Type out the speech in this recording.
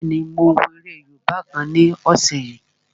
Bẹ́ẹ̀ni, mo wo eré yóòbá kan ní ọ̀sẹ̀ yìí